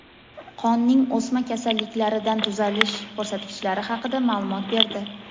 qonning o‘sma kasalliklaridan tuzalish ko‘rsatkichlari haqida ma’lumot berdi.